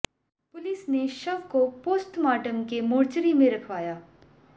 police ने शव को पोस्टमार्टम के मोर्चरी में रखवाया